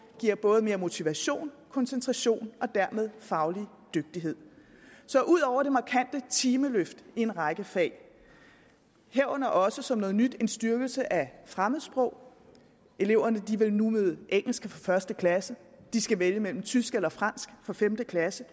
giver både mere motivation og koncentration og dermed faglig dygtighed så ud over det markante timeløft i en række fag herunder også som noget nyt en styrkelse af fremmedsprog eleverne vil nu møde engelsk fra første klasse og de skal vælge mellem tysk og fransk fra femte klasse